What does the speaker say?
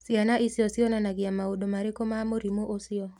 Ciana icio cionanagia maũndũ marĩkũ ma mũrimũ ũcio?